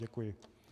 Děkuji.